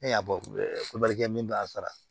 E y'a kɛ min b'a sara